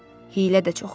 Hiylə də çox olur.